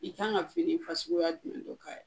I kan ka fini fasuguya jumɛn don ka